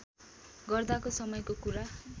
गर्दाको समयको कुरा